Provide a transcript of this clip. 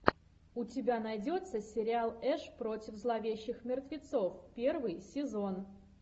у тебя найдется сериал эш против зловещих мертвецов первый сезон